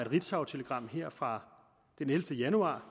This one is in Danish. ritzautelegram fra den ellevte januar